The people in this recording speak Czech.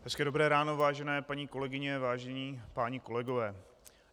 Hezké dobré ráno, vážené paní kolegyně, vážení páni kolegové.